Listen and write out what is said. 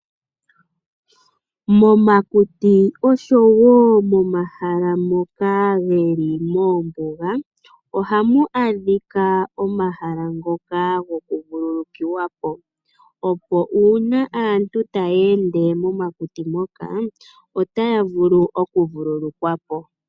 Momakuti oshowo momahala ngoka ge li moombuga ohamu adhika omahala goku vululukiwa po, opo uuna aantu taya enda momakuti moka otaya vulu oku vululukwa po.